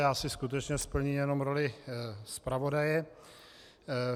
Já si skutečně splním jenom roli zpravodaje.